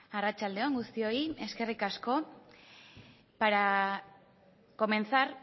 arratsalde on guztioi eskerrik asko para comenzar